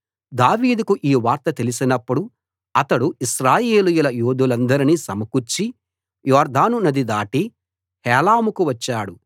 దావీదుకు ఈ వార్త తెలిసినప్పుడు అతడు ఇశ్రాయేలు యోధులందరినీ సమకూర్చి యొర్దాను నది దాటి హేలాముకు వచ్చాడు